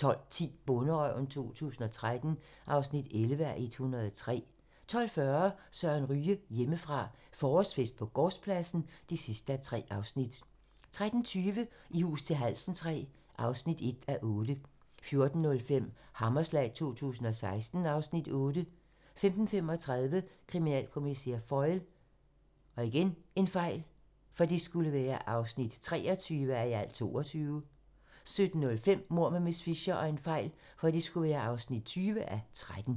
12:10: Bonderøven 2013 (11:103) 12:40: Søren Ryge: Hjemmefra - forårsfest på gårdspladsen (3:3) 13:20: I hus til halsen III (1:8) 14:05: Hammerslag 2016 (Afs. 8) 15:35: Kriminalkommissær Foyle (23:22) 17:05: Mord med miss Fisher (20:13)